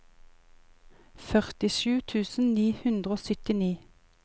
førtisju tusen ni hundre og syttini